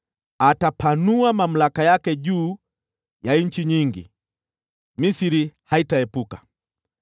Atapanua mamlaka yake juu ya nchi nyingi; hata Misri haitaepuka.